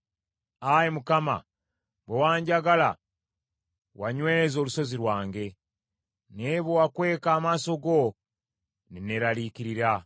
Ayi Mukama , bwe wanjagala, wanyweza olusozi lwange; naye bwe wankweka amaaso go ne neeraliikirira.